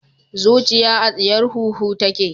Zuciya a tsiyar huhu take